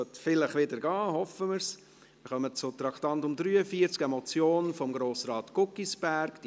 Wir kommen zum Traktandum 43, eine Motion von Grossrat Guggisberg «